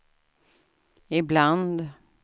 ibland